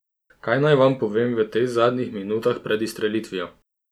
Kaj naj vam povem v teh zadnjih minutah pred izstrelitvijo?